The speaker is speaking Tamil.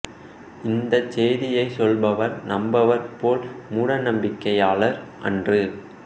இந்தச் செய்தியைச் சொல்பவர் நம்மவர் போல் மூட நம்பிக்கையாளர் அன்று